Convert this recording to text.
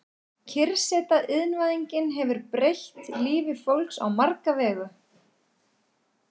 Kyrrseta Iðnvæðingin hefur breytt lífi fólks á marga vegu.